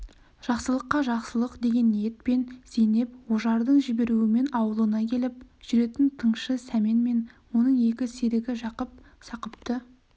жақсылыққа жақсылық деген ниетпен зейнеп ожардың жіберуімен ауылына келіп жүретін тыңшы сәмен мен оның екі серігі жақып сақыпты